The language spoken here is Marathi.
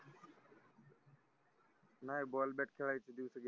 नाय ball bat खेळायचे दिवस गेले